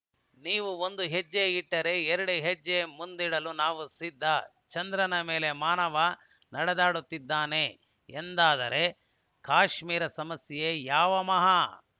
ನೀವು ಒಂದು ಹೆಜ್ಜೆ ಇಟ್ಟರೆ ಎರಡು ಹೆಜ್ಜೆ ಮುಂದಿಡಲು ನಾವು ಸಿದ್ಧ ಚಂದ್ರನ ಮೇಲೆ ಮಾನವ ನಡೆದಾಡುತ್ತಾನೆ ಎಂದಾದರೆ ಕಾಶ್ಮೀರ ಸಮಸ್ಯೆ ಯಾವ ಮಹಾ